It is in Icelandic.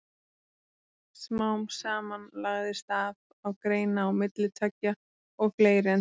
Smám saman lagðist af að greina á milli tveggja og fleiri en tveggja.